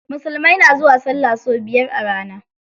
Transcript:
Musulmai na zuwa sallah sau biyar a rana.